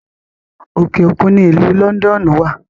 Òkè òkun ni ìlú Lọ́ndọ́ọ́nù wà